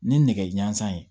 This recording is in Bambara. Ni nɛgɛ ɲɛnsan ye